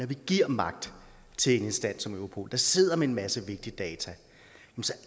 giver magt til en instans som europol der sidder med en masse vigtig data så